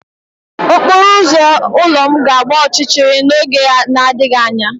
Okporo ụzọ ụlọ m ga-agba ọchịchịrị n'oge na-adịghị anya.